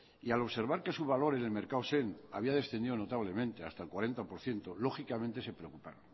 y al observar que su valor en el mercado send había descendido notablemente hasta el cuarenta por ciento lógicamente se preocuparon